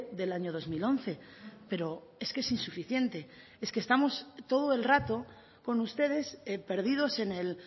del año dos mil once pero es que es insuficiente es que estamos todo el rato con ustedes perdidos en el